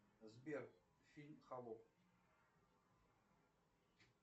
сбер фильм холоп